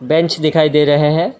Bench दिखाई दे रहे हैं।